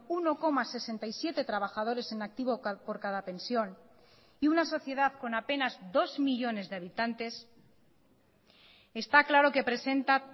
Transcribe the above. uno coma sesenta y siete trabajadores en activo por cada pensión y una sociedad con apenas dos millónes de habitantes está claro que presenta